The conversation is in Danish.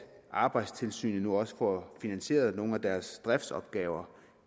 arbejdstilsynet nu også får finansieret nogle af deres driftsopgaver